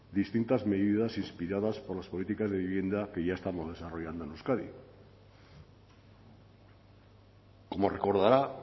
distintas medidas inspiradas por las políticas de vivienda que ya estamos desarrollando en euskadi como recordará